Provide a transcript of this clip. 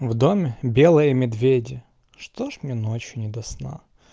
в доме белые медведи что же мне ночью не до сна